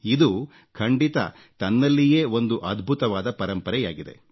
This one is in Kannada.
ಇದು ಖಂಡಿತ ತನ್ನಲ್ಲಿಯೇ ಒಂದು ಅದ್ಭುತವಾದ ಪರಂಪರೆಯಾಗಿದೆ